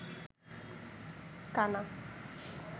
কানা